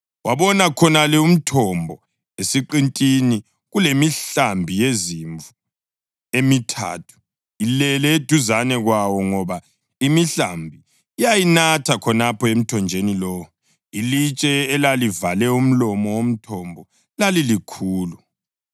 Wabona khonale umthombo esiqintini, kulemihlambi yezimvu emithathu ilele eduzane kwawo ngoba imihlambi yayinatha khonapho emthonjeni lowo. Ilitshe elalivale umlomo womthombo lalilikhulu.